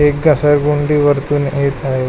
एक घसरगुंडी वरतून येत आहे.